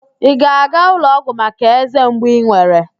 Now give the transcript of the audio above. Ị ga-aga ụlọọgwụ maka eze mgbu ị nwere?